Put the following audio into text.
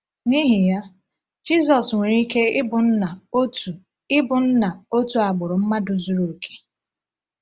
N’ihi ya, Jizọs nwere ike ịbụ nna otu ịbụ nna otu agbụrụ mmadụ zuru oke.